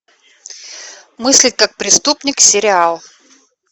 мыслить как преступник сериал